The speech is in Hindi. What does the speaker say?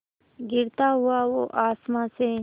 गिरता हुआ वो आसमां से